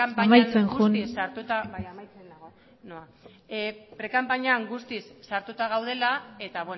prekanpainan guztiz sartuta amaitzen joan bai amaitzen noa prekanpainan guztiz sartuta gaudela eta